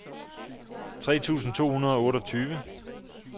tre tusind to hundrede og otteogtyve